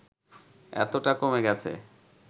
এতটা কমে গেছে